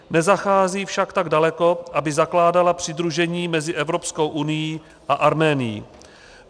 Nezachází však tak daleko, aby zakládala přidružení mezi Evropskou unií a Arménií.